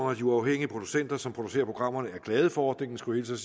og de uafhængige producenter som producerer programmerne er glade for ordningen skulle